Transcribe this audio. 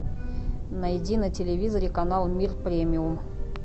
найди на телевизоре канал мир премиум